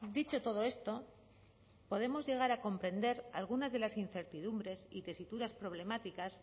dicho todo esto podemos llegar a comprender algunas de las incertidumbres y tesituras problemáticas